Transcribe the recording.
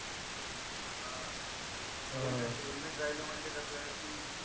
हा हम्म helmet राहील म्हणजे कस की